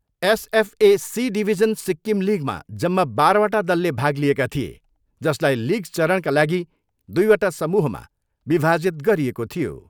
SFA C division Sikkim लिगमा जम्मा बाह्रवटा दलले भाग लिएका थिए, जसलाई लिग चरणका लागि दुईवटा समूहमा विभाजित गरिएको थियो।